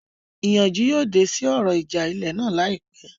Ìyanjú yóò dé sí ọ̀rọ̀ ìjà ilẹ̀ náà láìpẹ́